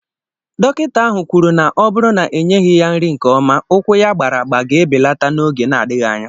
Dọkịta ahụ kwuru na ọ bụrụ na enyeghị ya nri nke ọma, ụkwụ ya agbara agba ga-ebelata n'oge na-adịghị anya